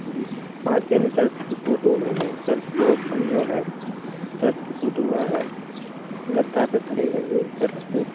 जी च पांच जन चर्च की फोटो में है चर्च को ऑफसन जो है चर्च की फोटो वा है गद्दा पे खड़े है ये चर्च पे --